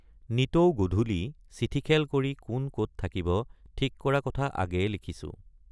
নিতৌ গধূলি চিঠিখেল কৰি কোন কত থাকিব ঠিক কৰা কথা আগেয়ে লিখিছোঁ।